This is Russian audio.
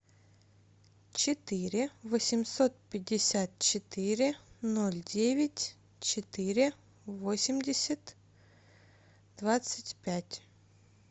четыре восемьсот пятьдесят четыре ноль девять четыре восемьдесят двадцать пять